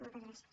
moltes gràcies